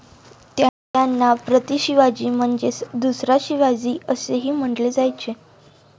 त्यांना 'प्रतिशिवाजी' म्हणजेच 'दुसरा शिवाजी असेही म्हटले जायचे.